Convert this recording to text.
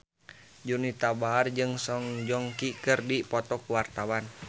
Juwita Bahar jeung Song Joong Ki keur dipoto ku wartawan